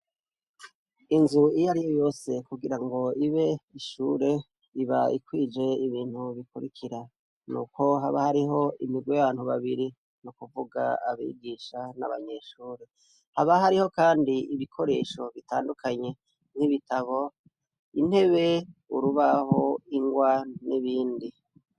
Inzu iyariyo yose kugira ibe ishure iba ikwije ibintu bikurikira nuko haba imigwi abantu babiri nukuvuga abigisha nabanyeshure. Haba hariho kandi ibikoresho bitandukanye nkibitabo intebe urubaho ingwa nibindi.